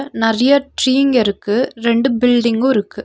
நறய ட்ரீங்க இருக்கு ரெண்டு பில்டிங்கூ இருக்கு.